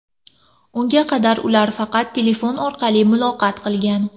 Unga qadar ular faqat telefon orqali muloqot qilgan.